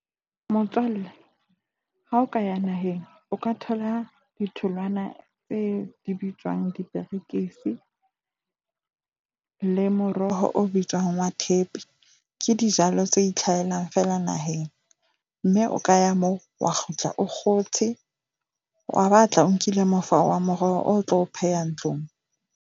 Motswalle, ha o ka ya naheng, o ka thola ditholwana tse di bitswang diperekisi le moroho o bitswang wa thepe. Ke dijalo tse itlhahelang fela naheng. Mme o ka ya moo wa kgutla o kgotshe, wa ba tla o nkile mofao wa moroho, o tlo o pheha ntlong.